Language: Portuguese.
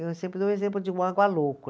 Eu sempre dou o exemplo de um